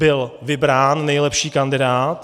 Byl vybrán nejlepší kandidát.